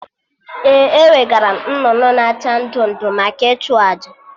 Ee, ewegaram nnụnụ na acha ndụ ndụ maka ịchụ àjà